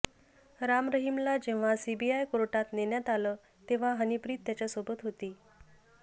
राम रहिमला जेव्हा सीबीआय कोर्टात नेण्यात आलं तेव्हा हनीप्रीत त्याच्यासोबत होती